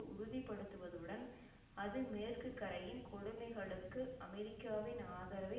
உறுதிப்படுத்துவதுடன் அது மேற்குகரையின் கொடுமைகளுக்கு அமெரிக்காவின் ஆதரவை